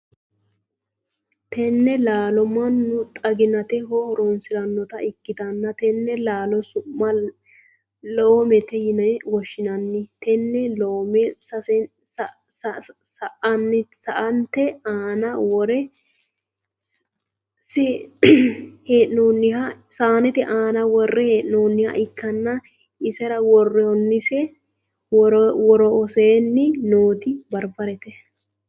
Tenne laallo manu xaginaateho horoonsiranota ikitanna tenne laallo su'ma loomete yinne woshinnanni tenne loome saanete aanna wore hee'noonniha ikanna isera woroseenni nooti barbarete.